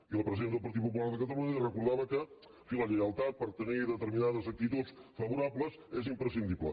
i la presidenta del partit popular de catalunya li recordava que en fi la lleialtat per tenir determinades actituds favorables és imprescindible